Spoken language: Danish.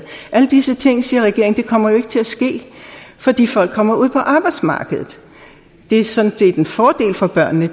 alle disse ting siger regeringen kommer ikke til at ske fordi folk kommer ud på arbejdsmarkedet det er sådan set en fordel for børnene